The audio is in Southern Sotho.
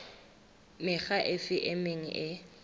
mekga efe e meng e